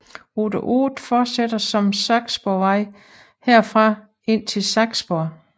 Rute 8 fortsætter som Saksborgvej herfra indtil Saksborg